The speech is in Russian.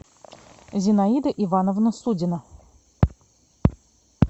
зинаида ивановна судина